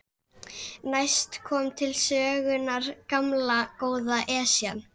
Næst kom til sögunnar gamla, góða Esjan.